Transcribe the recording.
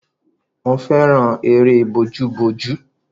Mo fẹ́ràn eré bójú bójú.